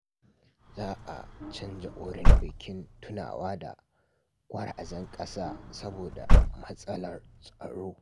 Za a canza wurin bikin tunawa da gwarazan kasa saboda matsalar tsaro.